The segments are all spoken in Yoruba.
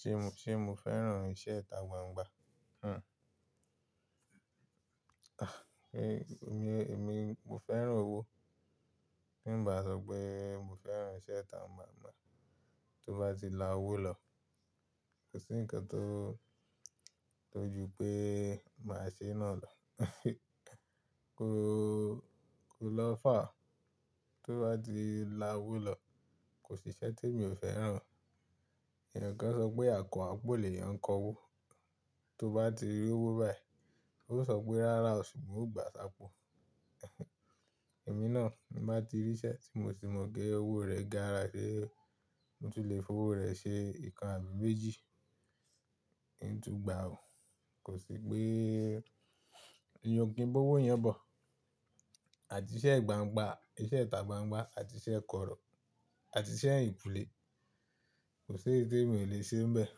Ṣe mó, ṣe mó fẹ́ràn iṣẹ́ ìta gbangba? Hm. Ah, é, èmi, èmi, mo fẹ́ràn owó. Tinbasopè, mo fẹ́ràn iṣẹ́ ìta gbangba. Tó bá ti la owó lọ, kò sí ǹkan tó, tó ju pé màá ṣe ná lọ Ko, ko lọ́fà. Tó bá ti la owó lọ, kò sí iṣẹ́ tí èmi ò fẹ́ràn. Èèyàn kan ṣọ pé, "Àkọ́ àpò ni eyàn kọ owó." Tó bá ti rí owó báyìí, ó ṣọ pé, "Rárá", ṣùgbon ò gbà sápo. Èmi náà, bí màá ti rí iṣẹ́ tí mo ti mọ gé owó rẹ̀ gára sé, mo ti lè fowó rẹ̀ ṣe nǹkan àbí méjì, nntún gbà ó. Kò sí pé èèyàn o kì ba owó yan bọ̀. Àti iṣẹ́ ìgbàǹgbà, iṣẹ́ ìta gbangba, àti iṣẹ́ kọ̀rọ̀, àti iṣẹ́ eyin kulẹ̀, kò sí èyí tí èmi ò lè ṣe níbẹ̀.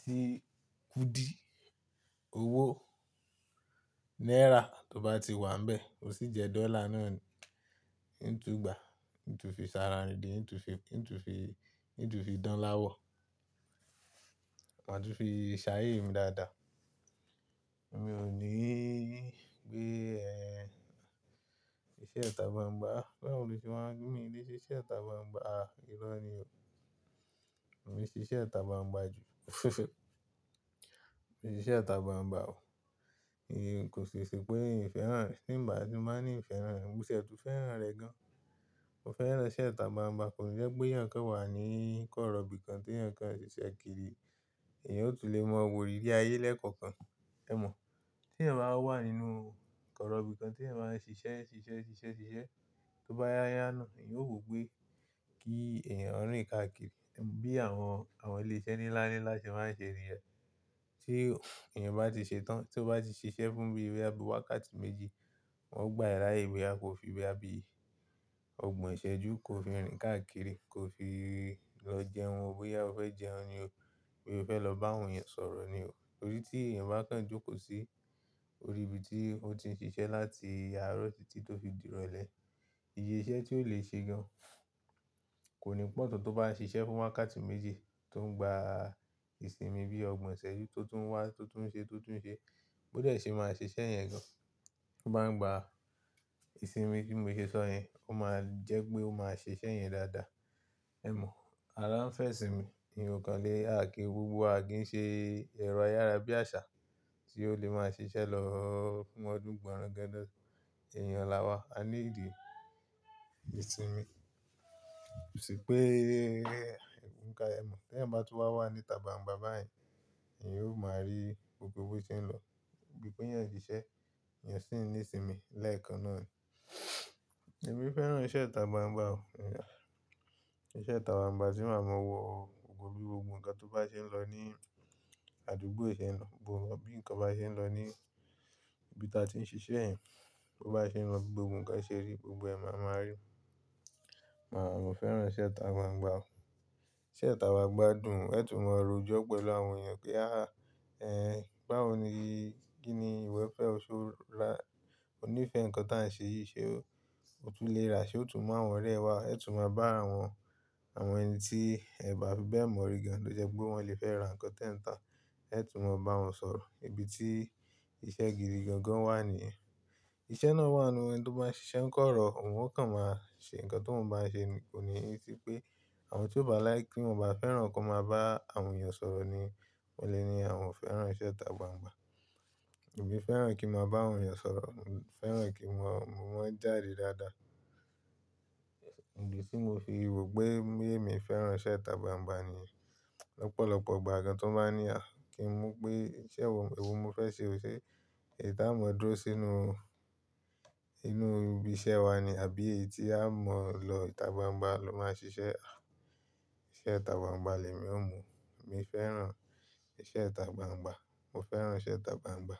Tí kùdí owó náírà tó bá ti wà níbẹ̀, bó sì jẹ́ dọ́là náà nì, nntún gbà, nntún fi sara rindìn, nntún fi, nntún fi, nntún fi dán láwọ̀, àti fi ṣàyé mi dáadáa. Èmi ò ní gbé, ẹ, iṣẹ́ ìta gbangba. Báwo ni o ṣe máa ń kí mi di ṣíṣẹ́ ìta gbangba? Ah, irọ́ ni o. Mi ṣíṣẹ́ ìta gbangba jù. Mi ṣíṣẹ́ ìta gbangba o. Èyí kò ṣe pé ì fẹ́ràn rẹ̀. Nígbà tí màá ní ìfẹ́ ràn ẹ́, mo ṣẹ̀ tún fẹ́ràn rẹ gan. Mo fẹ́ràn iṣẹ́ ìta gbangba, kò ní jẹ́ pé èèyàn kan wà ní kọ̀rọ̀ bí kan tí èèyàn kan ń ṣiṣẹ́ kiri, èèyàn ò tún lè mọ wò ìrírí ayé lẹ́ẹ̀kọ̀kan. Ẹ̀ mọ̀. Tí ẹ̀ máa wà nínú kọ̀rọ̀ bí kan tí ẹ̀ máa ń ṣiṣẹ́, ṣiṣẹ́, ṣiṣẹ́, ṣiṣẹ́, tó bá yá yá náà, èèyàn ó wò pé kí èèyàn rìn káàkiri. Bí àwọn, àwọn ilé-iṣẹ́ níláńláńlá ṣe máa ń ṣe nìyẹn Tí èèyàn bá ti ṣetán, tí ó bá ti ṣiṣẹ́ fún bí bóyá wákàtí méjì, wọ́n gbà ẹ́ láàyè wẹàb bí i ọgbọ̀n ìṣẹ́jú, ko fi rìn káàkiri, ko fi lọ jẹun, bóyá o fẹ́ jẹun ni o, bóyá o fẹ́ lọ bá àwọn èèyàn sọ̀rọ̀ ni o. Torí tí èèyàn bá kan jókòó sí orí ibi tí ó ti ń ṣiṣẹ́ láti àárọ̀ títí tó fi dìrọ̀lẹ́. Iye iṣẹ́ tí ó lè ṣe gan kò ní pọ̀ tán tó bá ń ṣiṣẹ́ fún wákàtí méjì tó ń gba ìsinmi bíi ọgbọ̀n ìṣẹ́jú tó tún wá, tó tún ṣe, tó tún ṣe. Bóo dẹ́ ṣe màá ṣe iṣẹ́ yẹn gan. Tó bá ń gba ìsinmi tí mo ṣe sọ yẹn, ó máa ń jẹ́ pé ó máa ṣe iṣẹ́ yẹn dáadáa. Ẹ̀ mọ̀. Ara ń fẹ́ ìsinmi. Èèyàn kàn lè hákìí gbogbo wa kì í ṣe ẹ̀rọ ayára bí àṣà tí ó lè máa ṣiṣẹ́ lọ́wọ́ fún ọdún gbọ̀rọ̀ńgánda lọ. Èèyàn làwa, a ní ìdí ìsinmi. Kò sí pé, nkan, ẹ̀ mọ̀. Tí ẹ̀ bá tún wá wà níta gbangba báyìí, èèyàn yóò máa rí gbogbo bó tí ń lọ. Níbi pé èèyàn ń ṣiṣẹ́, èèyàn sì ń ní ìsinmi lẹ́ẹ̀kan náà ni. Èmi fẹ́ràn iṣẹ́ ìta gbangba o. Iṣẹ́ ìta gbangba sì máa mọ wọ gbogbo bí ǹkan tó bá ṣe ń lọ ní àdúgbò yìí ṣe ń lọ gbogbo. Bí ǹkan bá ṣe ń lọ ní ibi tí a ti ń ṣiṣẹ́ yẹn, bó bá ṣe ń lọ gbogbo ǹkan ṣe rí, gbogbo ẹ̀ máa máa rí. Màá, mo fẹ́ràn iṣẹ́ ìta gbangba o. Iṣẹ́ ìta gbangba dùn. Ẹ tún mọ ọ̀rọ̀ ojọ́ pẹ̀lú àwọn èèyàn pé, "Áà, ẹ, báwo ni, kí ni ìwọ fẹ́ o só rà?" "Mo ní ìfẹ́ ǹkan tí à ń ṣe yìí ṣe o. Mo tún lè rà a." Ṣe o tún mú àwọn ọ̀rẹ́ ẹ wá, ẹ tún máa bá àwọn, àwọn ẹni tí ẹ bà fi bẹ́ẹ̀ mọ̀ rí gan lọ jẹ́ pé wọ́n lè fẹ́ ra ǹkan tẹ́ń-tan, ẹ tún máa bá wọn sọ̀rọ̀. Ibi tí iṣẹ́ gidi gangan wà níì yẹn. Iṣẹ́ náà wà nínú ẹni tó bá ń ṣiṣẹ́ kọ̀rọ̀, òun ó kàn máa ṣe ǹkan tóun bá ń ṣe nì. Kò níí pé àwọn tí ó bá láì kí wọ́n bá fẹ́ràn kí wọ́n máa bá àwọn èèyàn sọ̀rọ̀ ni wọ́n lè ní àwọn fẹ́ràn iṣẹ́ ìta gbangba. Èmi fẹ́ràn kí mo bá àwọn èèyàn sọ̀rọ̀, mo fẹ́ràn kí mo, mo máa jáde dáadáa. Ìdí tí mo fi rò pé èmi fẹ́ràn iṣẹ́ ìta gbangba ni lọ́pọ̀lọpọ̀ ìgbà gan tó ń bá ní à kí ń mú pé iṣẹ́ wo, èwo mo fẹ́ ṣe o ṣe, èyí tí á mo dúró se sínú, inú ibi iṣẹ́ wa ni, àbí èyí tí a mọ̀ lọ ìta gbangba ló máa ń ṣiṣẹ́. Iṣẹ́ ìta gbangba lè mi ó mú. Mi fẹ́ràn iṣẹ́ ìta gbangba. Mo fẹ́ràn iṣẹ́ ìta gbangba.